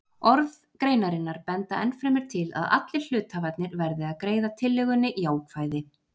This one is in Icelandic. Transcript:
Orð greinarinnar benda ennfremur til að allir hluthafarnir verði að greiða tillögunni jákvæði.